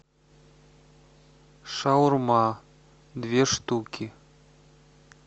шаурма две штуки